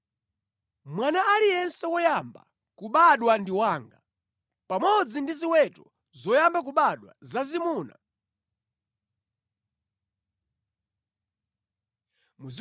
“Mwana aliyense woyamba kubadwa ndi wanga, pamodzi ndi ziweto zoyamba kubadwa zazimuna kuchokera ku ngʼombe kapena nkhosa.